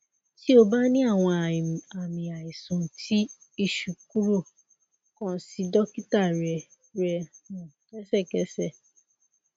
ti o ba ni awọn aami aisan ti iṣu kuro kan si dokita rẹ rẹ um lẹsẹkẹsẹ